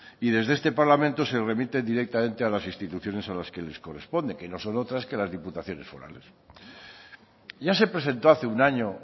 y desde este parlamento se remite directamente a las instituciones a las que les corresponde que no son otras que las diputaciones forales ya se presentó hace un año